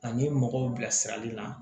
Ani mɔgɔw bilasirali la